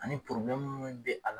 Ani porobilɛmu min be a la